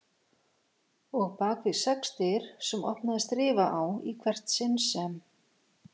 Og bakvið sex dyr sem opnaðist rifa á í hvert sinn sem